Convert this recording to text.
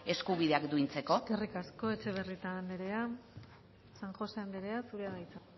eskubideak duintzeko eskerrik asko etxebarrieta anderea san josé anderea zurea da hitza